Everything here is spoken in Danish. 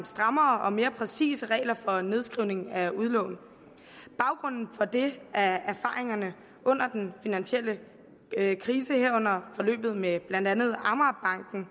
strammere og mere præcise regler for nedskrivning af udlån baggrunden for det er erfaringerne under den finansielle krise herunder forløbet med blandt andet amagerbanken